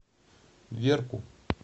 верку